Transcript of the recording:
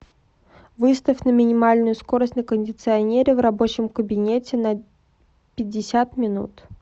выставь на минимальную скорость на кондиционере в рабочем кабинете на пятьдесят минут